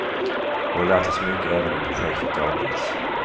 Vi har lärt oss mycket även om projektet avbryts.